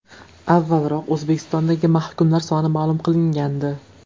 Avvalroq O‘zbekistondagi mahkumlar soni ma’lum qilingandi.